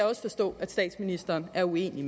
også forstå at statsministeren er uenig